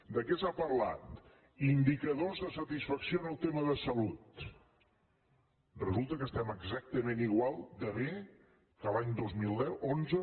de què s’ha parlat indicadors de satisfacció en el tema de salut resulta que estem exactament igual de bé que l’any dos mil deu onze